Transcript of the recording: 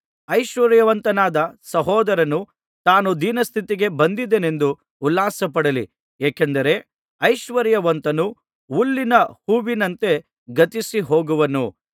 ಐಶ್ವರ್ಯವಂತನಾದ ಸಹೋದರನು ತಾನು ದೀನಸ್ಥಿತಿಗೆ ಬಂದೆನೆಂದು ಉಲ್ಲಾಸಪಡಲಿ ಏಕೆಂದರೆ ಐಶ್ವರ್ಯವಂತನು ಹುಲ್ಲಿನ ಹೂವಿನಂತೆ ಗತಿಸಿ ಹೋಗುವನು